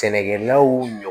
Sɛnɛkɛlaw ɲɔ